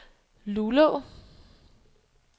Luleå